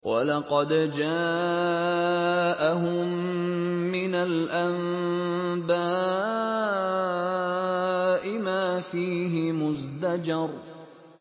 وَلَقَدْ جَاءَهُم مِّنَ الْأَنبَاءِ مَا فِيهِ مُزْدَجَرٌ